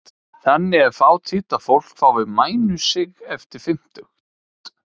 Þannig er fátítt að fólk fái mænusigg eftir fimmtugt.